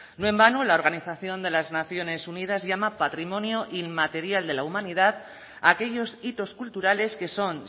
no en vano la organización de las naciones unidas llama patrimonio inmaterial de la humanidad a aquellos hitos culturales que son